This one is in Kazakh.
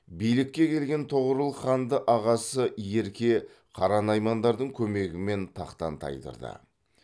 билікке келген тоғорыл ханды ағасы ерке қара наймандардың көмегімен тақтан тайдырды